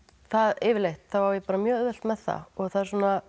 yfirleitt á ég mjög auðvelt með það það